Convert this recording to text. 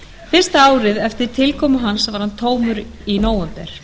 fyrsta árið eftir tilkomu hans varð hann tómur í nóvember